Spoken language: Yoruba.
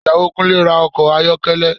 Ìyàwó Kúnlé ra ọkọ̀ ayọ́kẹ́lẹ́